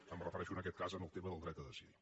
em refereixo en aquest cas al tema del dret a decidir